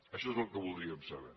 això és el que voldríem saber